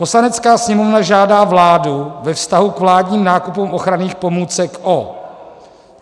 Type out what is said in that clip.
"Poslanecká sněmovna žádá vládu ve vztahu k vládním nákupům ochranných pomůcek o